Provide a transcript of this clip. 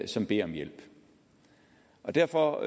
som beder om hjælp derfor